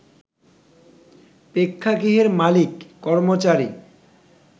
প্রেক্ষাগৃহের মালিক, কর্মচারী